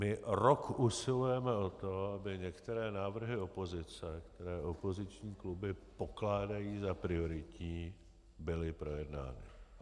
My rok usilujeme o to, aby některé návrhy opozice, které opoziční kluby pokládají za prioritní, byly projednány.